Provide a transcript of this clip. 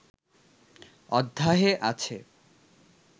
অধ্যায়ে আছে